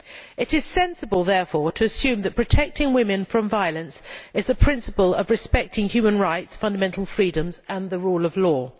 It is sensible therefore to assume that protecting women from violence forms part of the principle of respect for human rights, fundamental freedoms and the rule of law.